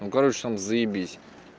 ну короче там заебись